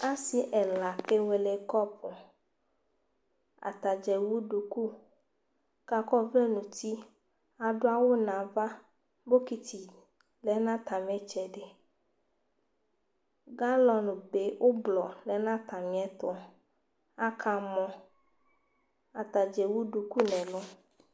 Asɩ ɛla kewele kɔpʋ Ata dza ewu duku kʋ akɔ ɔvlɛ nʋ uti Adʋ awʋ nʋ ava Bɔkɩtɩ lɛ nʋ atamɩ ɩtsɛdɩ Galɔnbe ʋblɔ ɔlɛ nʋ atamɩɛtʋ Akamɔ Ata dza ewu duku nʋ ɛlʋ